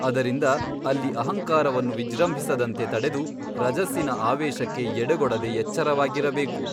ಅದರಿಂದ ಅಲ್ಲಿ ಅಹಂಕಾರವನ್ನು ವಿಜೃಂಭಿಸದಂತೆ ತಡೆದು ರಜಸ್ಸಿನ ಆವೇಶಕ್ಕೆ ಎಡೆಗೊಡದೆ ಎಚ್ಚರವಾಗಿರಬೇಕು.